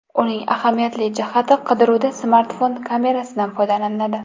Uning ahamiyatli jihati, qidiruvda smartfon kamerasidan foydalaniladi.